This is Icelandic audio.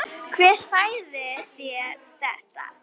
Síðan reri hann í burtu.